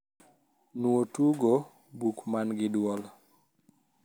nuo tugo buk man gi duol